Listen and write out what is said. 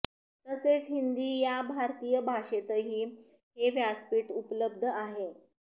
तसेच हिंदी या भारतीय भाषेतही हे व्यासपीठ उपलब्ध आहे